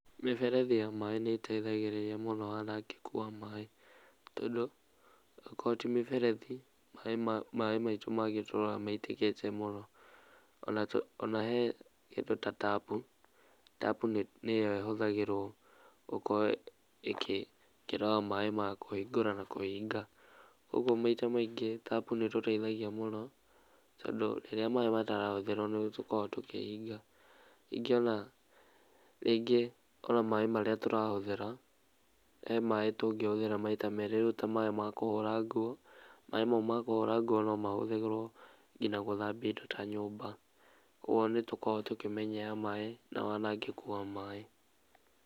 Mĩberethi ya maaĩ nĩĩteithagirĩria mũno wanangĩku wa maaĩ tondũ ko ti mĩberethi maaĩ maitũ mangĩtũraga maitĩkĩte mũno, ona he kĩndũ ta tap. Tap nĩyo ĩhũthĩrwo gũkorwo ĩkĩrora maaĩ ma kũhingũra na kũhinga ũguo maita maingĩ tap nĩĩtũteithagia mũno tondũ rĩrĩa maaĩ matarahũthĩrwo nĩtũkoragwo tũkĩhinga. Ningĩ ona rĩngĩ ona maaĩ marĩa tũrahũthĩra he maaĩ tũngĩhũthĩra maita merĩ rĩu ta maaĩ ma kũhũra nguo maaĩ mau ma kũhũra nguo no mahũthĩrwo gũthambia indo ta nyũmba, ũguo nĩtũkoragwo tũkĩmenyerea maaĩ na wanangĩku wa maaĩ.